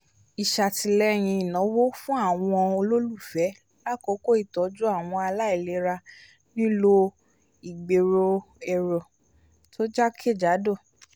isatìlẹ́yìn ìnáwó fún àwọn ololufẹ l'akoko ìtọjú àwọn ààlà ìlera nìlo igbero èrò tó jakejado